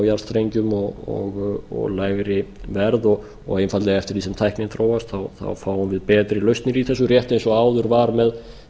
jarðstrengjum og lægri verð og einfaldlega eftir því sem tæknin þróast fáum við betri lausnir í þessu rétt eins og áður var með